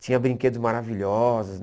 Tinha brinquedos maravilhosos,